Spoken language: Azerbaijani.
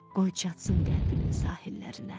qoy çatsın qəlbinin sahillərinə.